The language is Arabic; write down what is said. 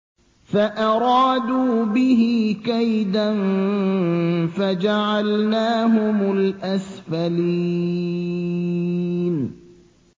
فَأَرَادُوا بِهِ كَيْدًا فَجَعَلْنَاهُمُ الْأَسْفَلِينَ